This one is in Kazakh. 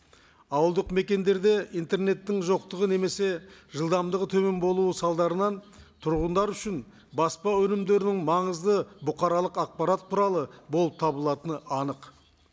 ауылдық мекендерде интернеттің жоқтығы немесе жылдамдығы төмен болуы салдарынан тұрғындар үшін баспа өнімдерінің маңызды бұқаралық ақпарат құралы болып табылатыны анық